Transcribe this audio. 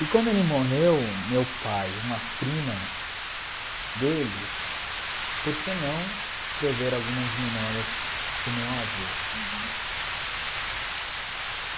E quando ele morreu, meu pai e uma prima dele, por que não escrever algumas memórias do meu avô? Uhum